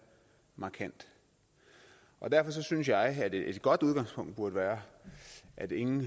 markant derfor synes jeg at et godt udgangspunkt burde være at ingen